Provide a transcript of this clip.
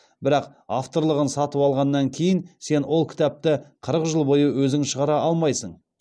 бірақ авторлығын сатып алғаннан кейін сен ол кітапты қырық жыл бойы өзің шығара алмайсың